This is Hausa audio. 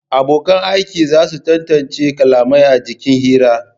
Abonkan aiki za su tantance kalamai a jikin hira